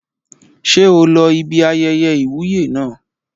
Ṣé o lọ ibi ayẹyẹ ìwúyè naa?